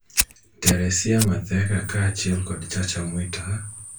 Teresia Matheka kaachiel kod Chacha Mwita